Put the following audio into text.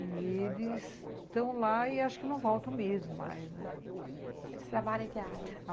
E eles estão lá e acho que não voltam mesmo mais, né?